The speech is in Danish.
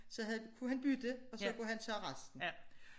Så havde kunne han bytte og så kunne han tage resten